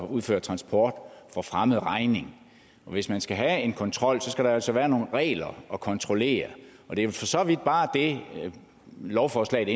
udfører transportopgaver for fremmed regning hvis man skal have en kontrol skal der altså være nogle regler at kontrollere det er for så vidt bare det lovforslaget